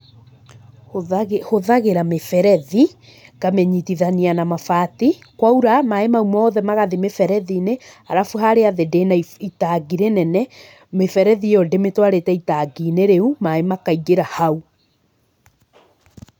Hũtha hũthagĩra mĩberethi, ngamĩnyitithania na mabati, kwaura, maĩ mau mothe magathi mĩberethi-inĩ, arabu harĩa thĩ ndĩna itangi rĩnene, mĩberethi ĩyo ndĩmĩtwarĩte itangi-inĩ rĩu, maĩ makaingĩra hau.